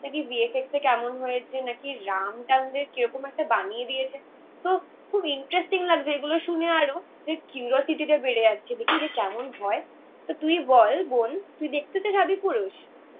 দিয়ে VFX টা কেমন হয়েছে নাকি রাম টামদের কিরকম একটা বানিয়ে দিয়েছে. তো খুব ইন্টারেস্টিং লাগছে. এগুলো শুনে আরো. যে কিউরোসিটিটা বেড়ে যাচ্ছে. দেখি যে কেমন হয়. তো তুই বল বোন. তুই দেখতে তো যাবি আদিপুরুষ